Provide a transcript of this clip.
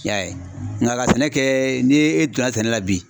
I y'a ye, nka ka sɛnɛ kɛɛ ni e donna sɛnɛ la bi.